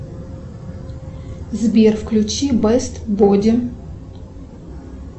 сбер включи бест боди